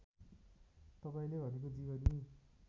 तपाईँले भनेको जीवनी